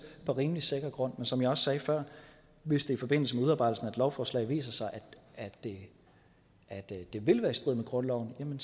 på rimelig sikker grund men som jeg også sagde før hvis det i forbindelse med udarbejdelsen af et lovforslag viser sig at det det vil være i strid med grundloven